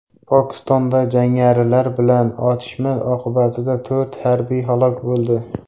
Pokistonda jangarilar bilan otishma oqibatida to‘rt harbiy halok bo‘ldi.